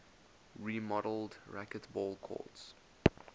remodeled racquetball courts